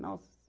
Nossa!